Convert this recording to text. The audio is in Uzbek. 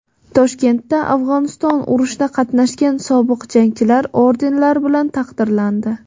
Toshkentda Afg‘oniston urushida qatnashgan sobiq jangchilar ordenlar bilan taqdirlandi.